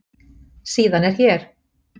Síðan er hér.